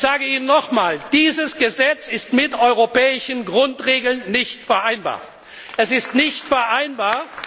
gehen! Ich sage Ihnen nochmals Dieses Gesetz ist mit europäischen Grundregeln nicht vereinbar.